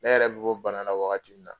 Ne yɛrɛ be b'o bana la wagati min na